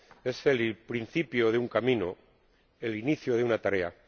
Es el principio de un camino, el inicio de una tarea